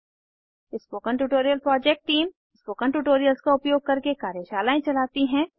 spoken tutorial project team spoken tutorials का उपयोग करके कार्यशालाएं चलाती है